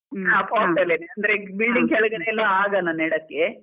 pot ಅಲ್ಲೆ, ಅಂದ್ರೆ building ಕೆಳಗೆಲ್ಲ ಎಲ್ಲ ಆಗಲ್ಲ ನೆಡಕೆ.